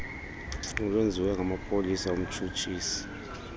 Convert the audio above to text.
olwenziwe ngamapolisa umtshutshisi